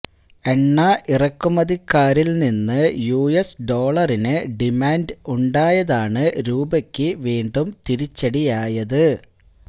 എണ്ണ ഇറക്കുമതിക്കാരില് നിന്ന് യുഎസ് ഡോളറിന് ഡിമാന്റ് ഉണ്ടായതാണ് രൂപയ്ക്ക വീണ്ടും തിരിച്ചടിയായത്